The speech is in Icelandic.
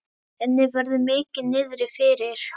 Henni verður mikið niðri fyrir.